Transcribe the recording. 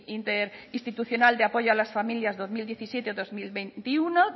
interinstitucional de apoyo a las familias dos mil diecisiete dos mil veintiuno